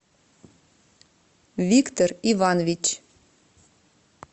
виктор иванович